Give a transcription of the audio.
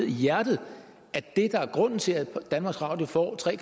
i hjertet af det der er grunden til at danmarks radio får tre